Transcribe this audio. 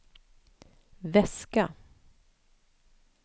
väska